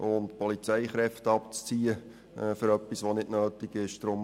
Es sollen nicht Polizeikräfte für etwas abgezogen werden, was nicht notwendig ist.